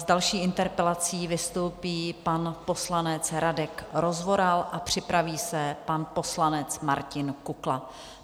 S další interpelací vystoupí pan poslanec Radek Rozvoral a připraví se pan poslanec Martin Kukla.